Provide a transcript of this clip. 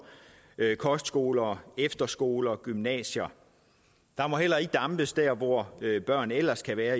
kostskoler efterskoler gymnasier der må heller ikke dampes der hvor børn ellers kan være